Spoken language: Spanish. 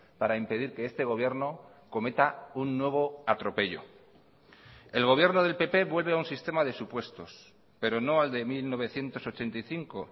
para impedir que este gobierno cometa un nuevo atropello el gobierno del pp vuelve a un sistema de supuestos pero no al de mil novecientos ochenta y cinco